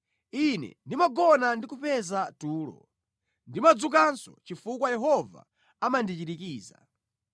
Ine ndimagona ndi kupeza tulo; ndimadzukanso chifukwa Yehova amandichirikiza.